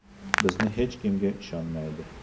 Bizni hech kimga ishonmaydi.